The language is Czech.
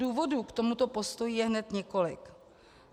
Důvodů k tomuto postoji je hned několik.